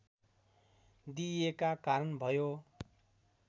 दिइएका कारण भयो